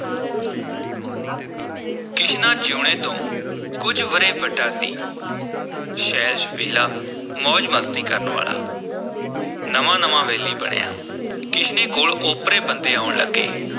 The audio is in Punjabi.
ਕਿਸ਼ਨਾ ਜੀਊਣੇ ਤੋਂ ਕੁਝ ਵਰ੍ਹੇ ਵੱਡਾ ਸੀ ਛੈਲ-ਛਬੀਲਾ, ਮੌਜ-ਮਸਤੀ ਕਰਨ ਵਾਲਾ ਨਵਾਂ-ਨਵਾਂ ਵੈਲੀ ਬਣਿਆ ਕਿਸ਼ਨੇ ਕੋਲ ਓਪਰੇ ਬੰਦੇ ਆਉਣ ਲੱਗੇ।